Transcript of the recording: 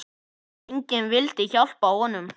Enginn vildi hjálpa honum.